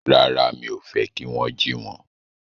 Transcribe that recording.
Rárá, mi ò fẹ́ kí wón jí wọn